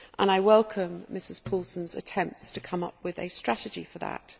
I welcome Ms Paulsen's attempts to come up with a strategy for that.